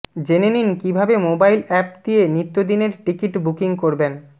জেনে নিন কীভাবে মোবাইল অ্যাপ দিয়ে নিত্যদিনের টিকিট বুকিং করবেন